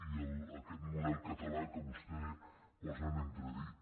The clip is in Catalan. i aquest model català que vostè posa en entredit